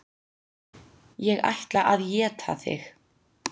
Ég ætla að éta þig.